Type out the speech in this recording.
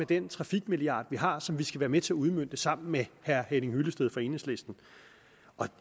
den trafikmilliard vi har og som vi skal være med til at udmønte sammen med herre henning hyllested fra enhedslisten